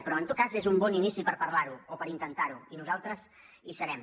però en tot cas és un bon inici per parlar ho o per intentar ho i nosaltres hi serem